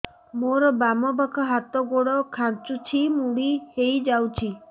ମୋର ବାମ ପାଖ ହାତ ଗୋଡ ଖାଁଚୁଛି ମୁଡି ହେଇ ଯାଉଛି